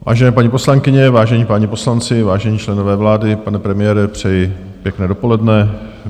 Vážené, paní poslankyně, vážení páni poslanci, vážení členové vlády, pane premiére, přeji pěkné dopoledne.